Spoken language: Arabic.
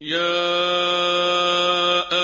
يَا